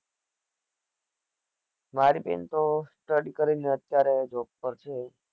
મારી બેન તો study કરી ને અત્યારે job પર છે